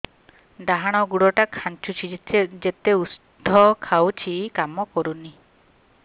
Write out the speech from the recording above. ଡାହାଣ ଗୁଡ଼ ଟା ଖାନ୍ଚୁଚି ଯେତେ ଉଷ୍ଧ ଖାଉଛି କାମ କରୁନି